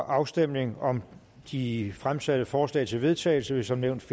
afstemningen om de fremsatte forslag til vedtagelse vil som nævnt